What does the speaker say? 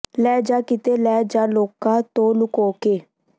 ਲੈ ਜਾ ਕਿਤੇ ਲੈ ਜਾ ਲੋਕਾਂ ਤੋਂ ਲੁਕੋ ਕੇ